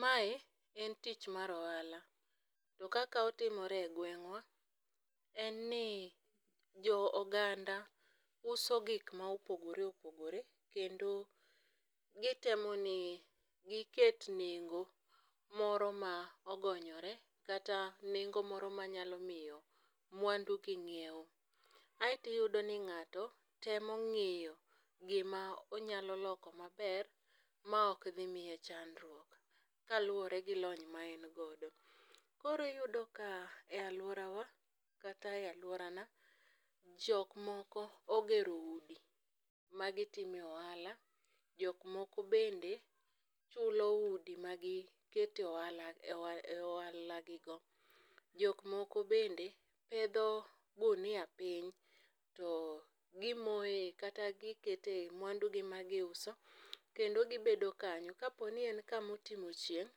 Mae en tich mar ohala. To kaka otimore e gweng'wa en ni jo oganda uso gik maopogore opogore kendo gitemoni giket nengo moro ma ogonyore kata nengo moro manyalomiyo mwandu gi nyieu. Ae tiyudoni ng'ato temo ng'iyo gima onyaloloko maber maok dhimiye chandruok kaluore gi lony ma en godo. Koro iyudoka e aluorawa kata e aluorana jokmoko ogero udi magitime ohala jokmoko bende chulo udi ma gikete oalagigo. Jokmoko bende pedho gunia piny to gimoe kata gikete mwandugi magiuso kendo gibedo kanyo. Kaponi en kama otimo chieng'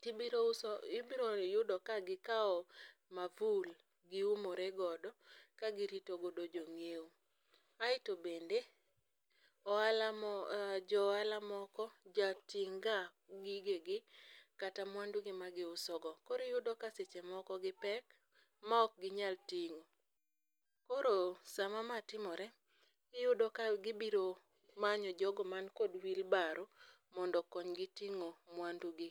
tibroyudo ka gikao mavul giumoregodo ka girito jonyieo. Ae tobende ohala moko, johala moko jating'ga gigegi kata mwandugi ma giusogo. Koro iyudoka sechemoko gipek ma okginyal ting'o. Koro sama maa timore, iyudo ka gibiro manyo jogo man kod wheelbarrow mondokonygi ting'o mwandugi.